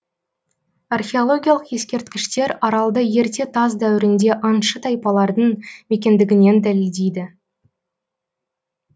археологиялық ескерткіштер аралды ерте тас дәуірінде аңшы тайпалардың мекендігінен дәлелдейді